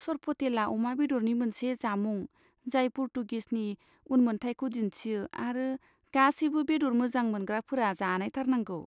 सरपटेला अमा बेदरनि मोनसे जामुं जाय पर्तुगिसनि उनमोनथाइखौ दिन्थियो आरो गासैबो बेदर मोजां मोनग्राफोरा जानायथारनांगौ।